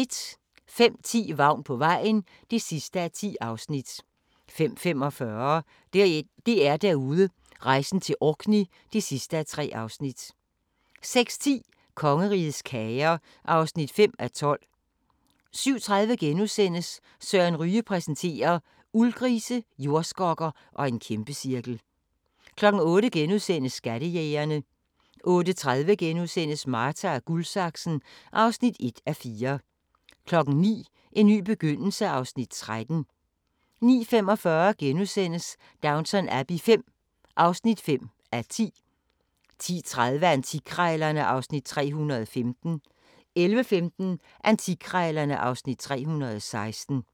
05:10: Vagn på vejen (10:10) 05:45: DR-Derude: Rejsen til Orkney (3:3) 06:10: Kongerigets kager (5:12) 07:30: Søren Ryge præsenterer: Uldgrise, jordskokker og en kæmpecirkel * 08:00: Skattejægerne * 08:30: Marta & Guldsaksen (1:4)* 09:00: En ny begyndelse (Afs. 13) 09:45: Downton Abbey V (5:10)* 10:30: Antikkrejlerne (Afs. 315) 11:15: Antikkrejlerne (Afs. 316)